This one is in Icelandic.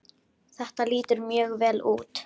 Þetta lítur mjög vel út.